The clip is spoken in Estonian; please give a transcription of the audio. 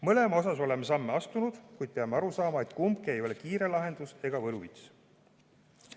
Mõlema puhul oleme samme astunud, kuid peame aru saama, et kumbki ei ole kiire lahendus ega võluvits.